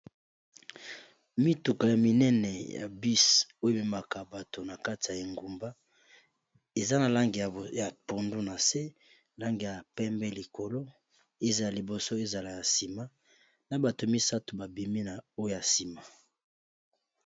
Mituka ya minene ya bus oyo ememaka bato na kati ya engumba eza na langi ya pondu na se langi ya pembe likolo ezala liboso ezala ya nsima na bato misato babimi na oya nsima.